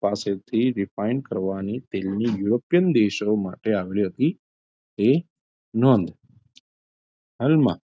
પાસેથી refined કરવાની તેલની યુરોપિયન દેશો માટે તે નોધ હાલમાં,